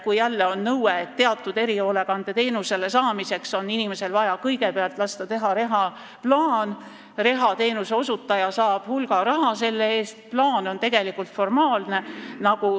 Kui jälle on nõue, et teatud erihoolekandeteenuse saamiseks on inimesel vaja kõigepealt lasta teha reha-plaan, siis reha-teenuse osutaja saab selle eest hulga raha, aga see plaan on tegelikult formaalne.